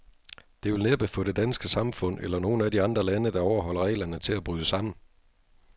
Det vil næppe få det danske samfund, eller nogen af de andre lande, der overholder reglerne, til at bryde sammen.